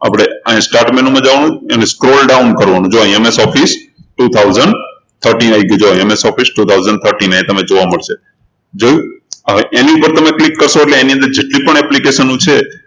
આપણે અહિયાં start menu માં જવાનું એને scroll down કરવાનું જો અહિયાં MSofficetwo thousand thirteen આવી ગયું MSofficetwo thousand thirteen અહિયાં તમને જોવા મળશે જોયું? હવે એની ઉપર તમે click કરશો એટલે એની અંદર જેટલી પણ application છે